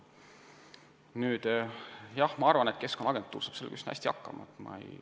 Aga jah, ma arvan, et Keskkonnaagentuur saab sellega üsna hästi hakkama.